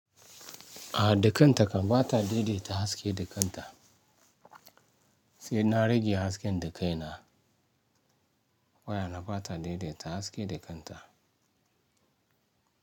A dakanta kan ba ta daidaita haske da kanta. Sai na rage hasken da kai na waya na ba ta daidaita haske da kanta.